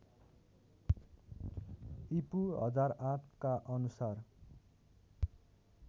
ईपू १००८ का अनुसार